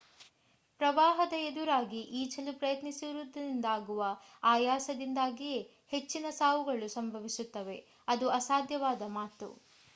ಪ್ರವಾಹದ ಎದುರಾಗಿ ಈಜಲು ಪ್ರಯತ್ನಿಸುವುದರಿಂದಾಗುವ ಆಯಾಸದಿಂದಾಗಿಯೇ ಹೆಚ್ಚಿನ ಸಾವುಗಳು ಸಂಭವಿಸುತ್ತವೆ ಅದು ಅಸಾಧ್ಯವಾದ ಮಾತು